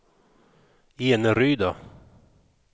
Eneryda